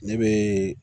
Ne bɛ